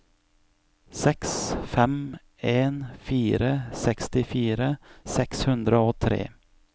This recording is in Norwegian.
seks fem en fire sekstifire seks hundre og tre